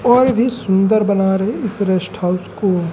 और भी सुंदर बना रहे इस रेस्ट हाउस को--